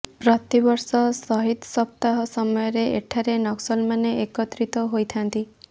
ପ୍ରତିବର୍ଷ ସହିଦ ସପ୍ତାହ ସମୟରେ ଏଠାରେ ନକ୍ସଲମାନେ ଏକତ୍ରିତ ହୋଇଥାନ୍ତି